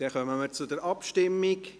Dann kommen wir zu der Abstimmung.